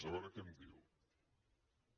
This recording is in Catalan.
a veure què em diu